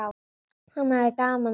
Hann hafði gaman af.